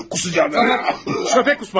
Köpək qusma.